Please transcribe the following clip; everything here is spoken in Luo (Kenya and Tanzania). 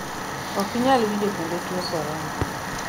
okinyal winjo kendo tuwo korona